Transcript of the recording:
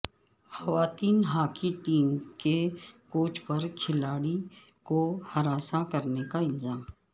خواتین hockey team کے coach پر کھلاڑی کو ہراساں کرنے کا الزام